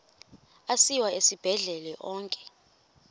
asiwa esibhedlele onke